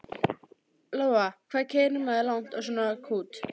Lóa: Hvað keyrir maður langt á svona kút?